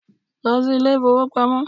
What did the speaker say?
Lọ si ilé ìfọwọ́pamo!